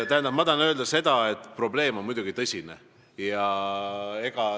Ma tahan öelda, et probleem on muidugi tõsine.